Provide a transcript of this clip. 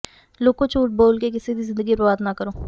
ਲੋਕੋ ਝੂਠ ਬੋਲ ਕੇ ਕਿਸੇ ਦੀ ਜ਼ਿੰਦਗੀ ਬਰਬਾਦ ਨਾ ਕਰੋ